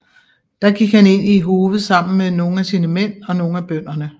Der gik han ind i hovet sammen med nogle af sine mænd og nogle af bønderne